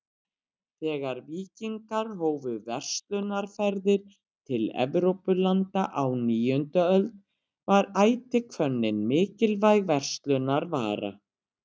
Þegar víkingar hófu verslunarferðir til Evrópulanda á níundu öld var ætihvönnin mikilvæg verslunarvara.